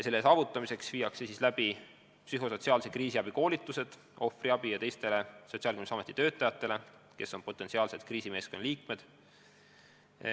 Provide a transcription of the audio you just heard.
Selle saavutamiseks viiakse läbi psühhosotsiaalse kriisiabi koolitused ohvriabi ja teiste Sotsiaalkindlustusameti töötajatele, kes on potentsiaalsed kriisimeeskonna liikmed.